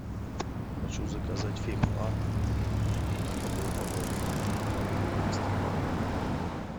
хочу заказать фейхоа одну упаковку двести грамм